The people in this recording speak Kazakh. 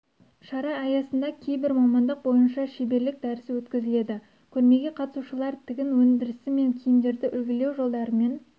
шара аясында кейбір мамандық бойынша шеберлік дәрісі өткізіледі көрмеге қатысушылар тігін өндірісі және киімдерді үлгілеу жолдарымен